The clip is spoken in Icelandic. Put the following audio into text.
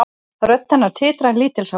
Rödd hennar titrar lítilsháttar.